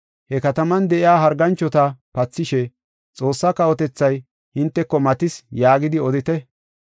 He kataman de7iya harganchota pathishe, ‘Xoossaa kawotethay hinteko matis’ yaagidi odite.